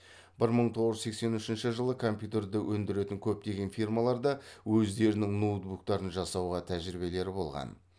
бір мың тоғыз жүз сексен үшінші жылы компьютерді өндіретін көптеген фирмаларда өздерінің ноутбуктарын жасауға тәжірибелері болған